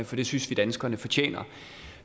for det synes vi danskerne fortjener